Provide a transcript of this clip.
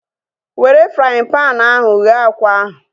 Were fraaịn panu ahu ghee akwa ahu